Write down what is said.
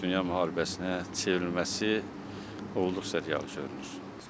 Dünya müharibəsinə çevrilməsi olduqca real çevrilir.